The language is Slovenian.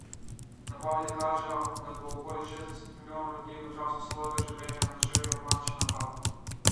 Napovedi kažejo, da bo okoli šestdeset milijonov ljudi v času svojega življenja doživelo panični napad.